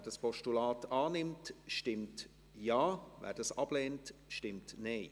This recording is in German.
Wer dieses Postulat annimmt, stimmt Ja, wer es ablehnt, stimmt Nein.